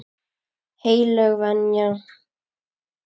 Heilög venja.